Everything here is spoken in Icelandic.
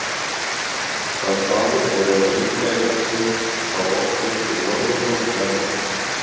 Sá staður er raunar líka í stefnu frá okkur til norðurpóls jarðar.